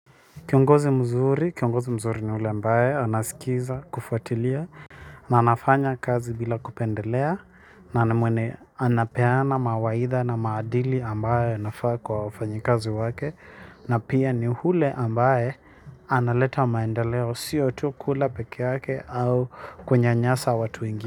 Kiongozi mzuri, kiongozi mzuri ni yule ambaye anasikiliza kufuatilia. Na anafanya kazi bila kupendelea na ni mwenye anapeana mawaidha na maadili ambayo yanafaa kwa wafanyakazi wake. Na pia ni ule ambaye analeta maendeleo sio tu kula peke yake au kunyanyasa watu wengi.